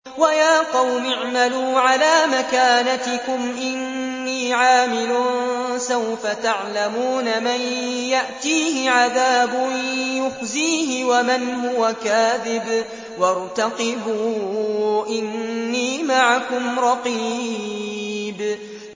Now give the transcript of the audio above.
وَيَا قَوْمِ اعْمَلُوا عَلَىٰ مَكَانَتِكُمْ إِنِّي عَامِلٌ ۖ سَوْفَ تَعْلَمُونَ مَن يَأْتِيهِ عَذَابٌ يُخْزِيهِ وَمَنْ هُوَ كَاذِبٌ ۖ وَارْتَقِبُوا إِنِّي مَعَكُمْ رَقِيبٌ